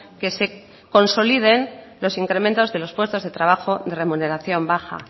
que se consoliden los incrementos de los puestos de trabajo de remuneración baja